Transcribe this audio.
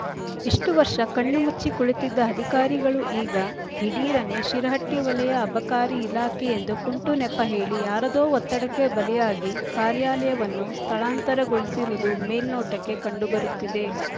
ಇಷ್ಟು ವರ್ಷ ಕಣ್ಣು ಮುಚ್ಚಿ ಕುಳಿತಿದ್ದ ಅಧಿಕಾರಿಗಳು ಈಗ ದಿಢೀರನೇ ಶಿರಹಟ್ಟಿ ವಲಯ ಅಬಕಾರಿ ಇಲಾಖೆ ಎಂದು ಕುಂಟು ನೆಪ ಹೇಳಿ ಯಾರದೋ ಒತ್ತಡಕ್ಕೆ ಬಲಿಯಾಗಿ ಕಾರ್ಯಾಲಯವನ್ನು ಸ್ಥಳಾಂತರಗೊಳಿಸಿರುವದು ಮೆಲ್ನೊಟಕ್ಕೆ ಕಂಡು ಬರುತ್ತಿದೆ